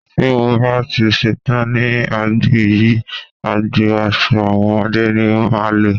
Tí mo bá ti ṣetán ní agbọn yìí, agbọn aṣo àwọn ọmọdé ni máa lọ.